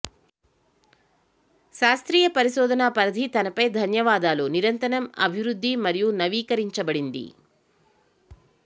శాస్త్రీయ పరిశోధన పరిధి తనపై ధన్యవాదాలు నిరంతరం అభివృద్ధి మరియు నవీకరించబడింది